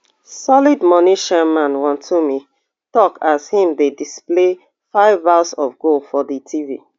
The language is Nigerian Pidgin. solid moni chairman wontumi tok as im dey display five bars of gold for di tv